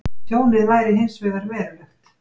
Tjónið væri hins vegar verulegt